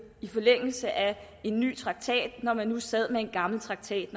i forlængelse af en ny traktat når man nu sad med en gammel traktat